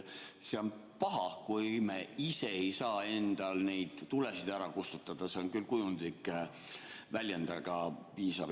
See on paha, kui me ise ei saa endal tulesid ära kustutada – see on küll kujundlik väljend, aga piisab.